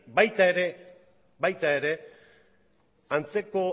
baita ere antzeko